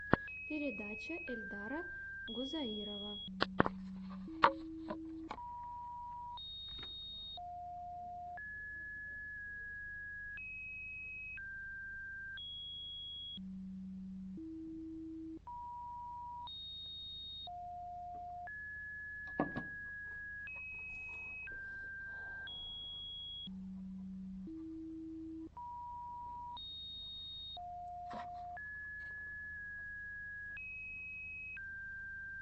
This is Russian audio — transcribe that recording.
передача эльдара гузаирова